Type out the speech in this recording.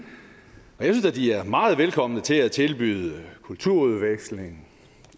det er da de er meget velkomne til at tilbyde kulturudveksling